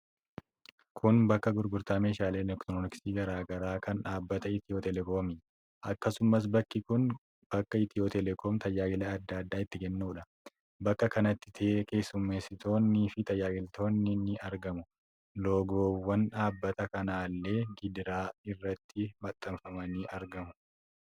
Kun bakka gurgurtaa meeshaalee elektirooniksii garaa garaa kan dhaabbata Itiyoo teelekoomi. akkasumas bakki kun bakka Itiyoo telekoom tajaajila adda addaa itti kennuudha. Bakka kanatti keessumeessitoonni fi tajaajilamtoonni ni argamu. Loogowwan dhaabbata kanaallee gidaara irratti maxxanfamanii argamu.